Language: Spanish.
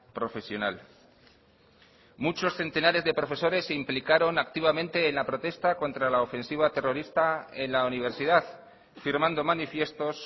profesional muchos centenares de profesores se implicaron activamente en la protesta contra la ofensiva terrorista en la universidad firmando manifiestos